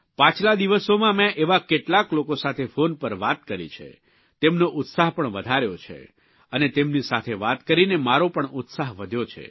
પાછલા દિવસોમાં મેં એવા કેટલાક લોકો સાથે ફોન પર વાત કરી છે તેમનો ઉત્સાહ પણ વધાર્યો છે અને તેમની સાથે વાત કરીને મારો પણ ઉત્સાહ વધ્યો છે